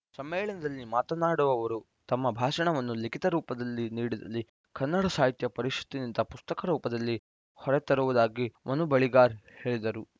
ಸಮ್ಮೇಳನದಲ್ಲಿ ಮಾತನಾಡುವವರು ತಮ್ಮ ಭಾಷಣವನ್ನು ಲಿಖಿತ ರೂಪದಲ್ಲಿ ನೀಡಿದಲ್ಲಿ ಕನ್ನಡ ಸಾಹಿತ್ಯ ಪರಿಷತ್ತಿನಿಂದ ಪುಸ್ತಕ ರೂಪದಲ್ಲಿ ಹೊರತರುವುದಾಗಿ ಮನು ಬಳಿಗಾರ್‌ ಹೇಳಿದರು